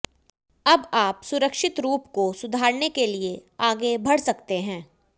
अब आप सुरक्षित रूप को सुधारने के लिए आगे बढ़ सकते हैं